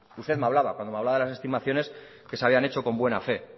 usted me hablaba cuando me hablaba de las estimaciones que se habían hecho con buena fe